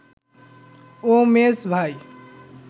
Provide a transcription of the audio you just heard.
ও মেঝ ভাই